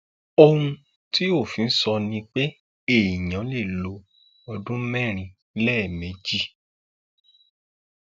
ohun tí òfin sọ ni pé èèyàn lè lo ọdún mẹrin lẹẹmejì